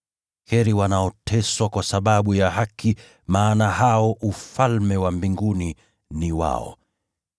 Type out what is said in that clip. Heri wanaoteswa kwa sababu ya haki, maana Ufalme wa Mbinguni ni wao.